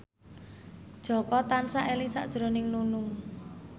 Jaka tansah eling sakjroning Nunung